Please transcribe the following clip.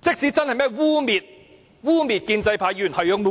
即使他真的污衊了建制派議員，那又如何？